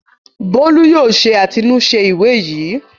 Bólú yóò ṣe àtilúnṣe ìwé yìí!